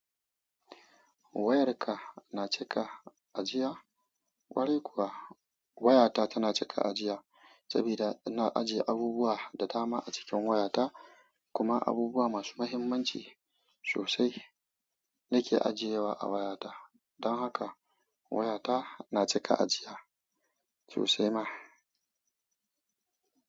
Wayarka na cika ajiya? Kwarai kuwa, wayata tana cika ajiya saboda ina ajiye abubuwa da dama a cikin wayata, kuma abubuwa masu mahimmanci sosai nake ajiyewa a wayata. Don haka wayata na cika ajiya sosai ma.